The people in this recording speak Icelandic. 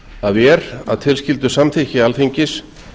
að er að tilskildu samþykkis alþingis